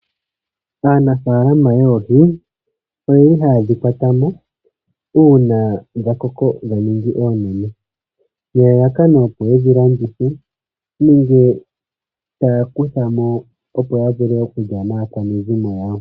Aanafama yoohi oyeli hayedhi kwata mo uuna dha koko dha ninga oonene nelalakano opo yedhi landithe nenge tayavkutha mo opo ya vule okulya naakwanezimo yawo.